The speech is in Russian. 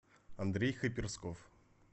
андрей хаперсков